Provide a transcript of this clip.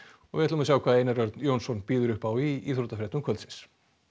við sjá hvað Einar Örn Jónsson býður upp á í íþróttafréttum kvöldsins